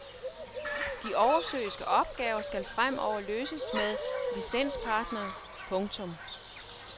De oversøiske opgaver skal fremover løses med licenspartnere. punktum